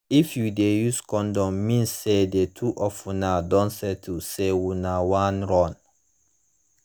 if u de use condom means say the two of una don settle say una wan run